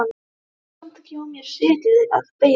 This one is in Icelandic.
Get samt ekki á mér setið að beygja mig niður.